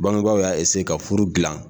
Bangebaw y'a ka furu dilan